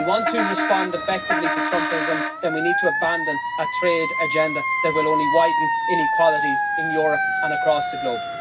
If we want to respond effectively to Trumpism then we need to abandon a trade agenda that will only widen inequalities in Europe and across the globe.